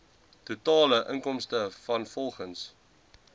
totale inkomste vanrvolgens